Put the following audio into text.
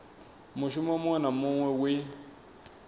mushumo muṅwe na muṅwe we